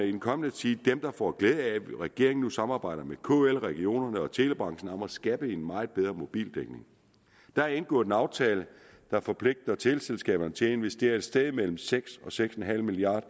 i den kommende tid får glæde af at regeringen nu samarbejder med kl regionerne og telebranchen om at skabe en meget bedre mobildækning der er indgået en aftale der forpligter teleselskaberne til at investere et sted mellem seks og seks en halv milliard